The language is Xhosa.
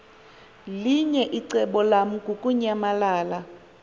linye icebo lamukunyamalala